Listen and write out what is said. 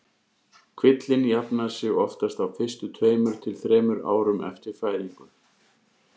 Kvillinn jafnar sig oftast á fyrstu tveimur til þremur árum eftir fæðingu.